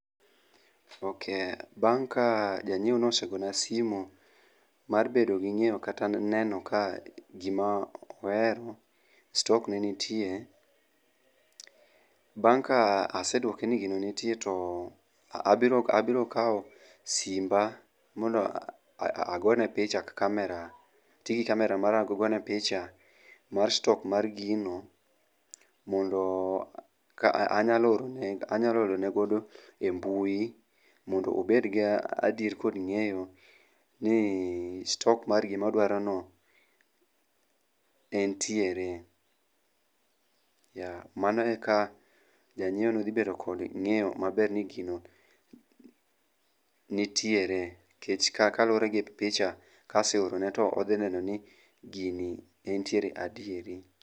Ok, bang' ka janyiewo no osegona simu mar bedo gi ng'eyo kata neno ka gima ohero, stok ne nitie. Bang' ka asedwoke ni gino nitie to abiro kao simba mondo agone picha kamera, atigi kamera mara agone picha mar stok mar gino. Mondo ka anyalo orone, anyalo orone godo e mbui mondo obed ga adier kod ng'eyo ni stok mar gimodwarono entiere. Yeah, mano e ka janyiewo no dhi bedo kod ng'eyo maber ni gino nitiere. Kech kaluwore gi picha kaseorone to odhi neno ni gini entiere adieri.